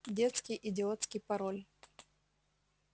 детский идиотский пароль